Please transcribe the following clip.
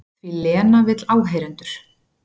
Því Lena vill áheyrendur.